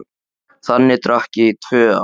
Þannig drakk ég í tvö ár.